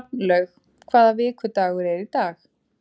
Hrafnlaug, hvaða vikudagur er í dag?